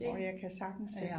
Og jeg kan sagtens se